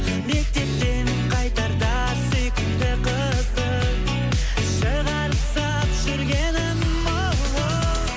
мектептен қайтарда сүйкімді қызды шығарып салып жүргенім оу